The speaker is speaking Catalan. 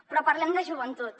però parlem de joventut